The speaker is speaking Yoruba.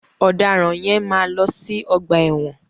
Ọ̀dàràn yẹn máa lọ sí ọgbà ẹ̀wọ̀n.